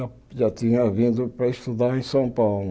Já já tinha vindo para estudar em São Paulo.